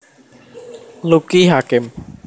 Lucky Hakim